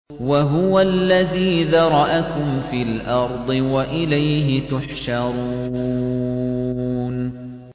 وَهُوَ الَّذِي ذَرَأَكُمْ فِي الْأَرْضِ وَإِلَيْهِ تُحْشَرُونَ